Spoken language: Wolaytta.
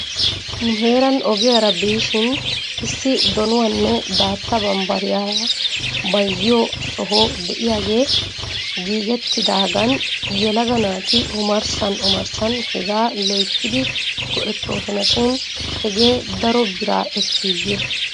Nu heeran ogiyaara biishin issi donuwaanne daatta bambbariyaara bayzziyoo soho de'iyaagee giigettidaagan yelaga naati omarssan omarssan hegaa loyttidi go'ettoosona shin hegee daro bira ekkiiyye?